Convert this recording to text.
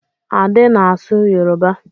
Ade na-asụ Yoruba.